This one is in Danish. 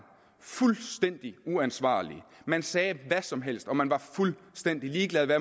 fuldstændig uansvarlig man sagde hvad som helst og man var fuldstændig ligeglad med